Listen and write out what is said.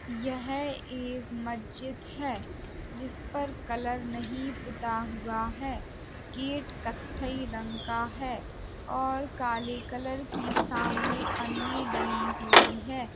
यह एक मस्जिद है। जिस पर कलर नहीं पुता हुआ है। गेट कत्थई रंग का है और काले कलर की सामने पन्नी डली हुई है।